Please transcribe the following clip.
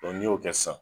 n'i y'o kɛ sisan